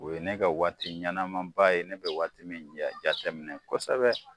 O ye ne ka waati ɲanama ba ye ne bɛ waati min ja jateminɛ kɔsɛbɛ.